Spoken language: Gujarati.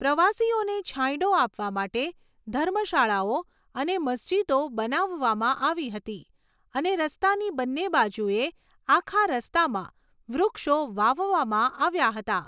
પ્રવાસીઓને છાંયડો આપવા માટે ધર્મશાળાઓ અને મસ્જિદો બનાવવામાં આવી હતી અને રસ્તાની બંને બાજુએ આખા રસ્તામાં વૃક્ષો વાવવામાં આવ્યા હતા.